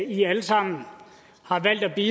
vi